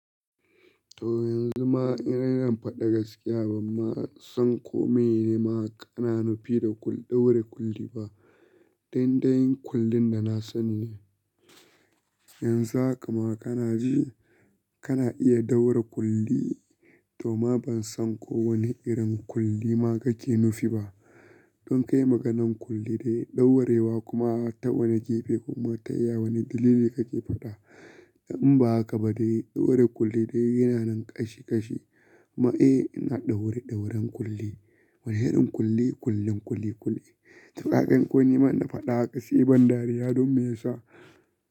To yanzu ma ina rera fada gaskiya, ban ma san kome nima kana nufi da ɗaure kuli ba. Dandayin kullin da na sani ne. Yanzu haka ma kana ji, kana iya ɗaure kuli, toh ma ban san ko wane irin kuli ma kake nufi ba. Don kai maganan kuli dai ɗaurewa kuma a ta wane gefe kuma ta iya wane dalili kake faɗa. In ba haka ba dai ɗaure kuli dai yana nan kashi kashi. Ma eh, ina ɗaure ɗauren kuli. Wane irin kuli? Kullin kuli kuli. Tuƙaƙen kunne ma na faɗa a gaske, ban dariya don me ya sa.